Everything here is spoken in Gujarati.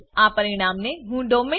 આ પરિણામને હું ડોમેઇન